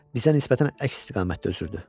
Bizə nisbətən əks istiqamətdə üzürdü.